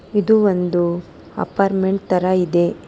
ಇದು ಒಂದು ಅಪ್ಪರ್ಮೆಂಟ್ ತರ ಇದೆ.